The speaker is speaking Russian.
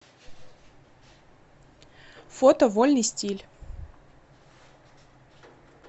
фото вольный стиль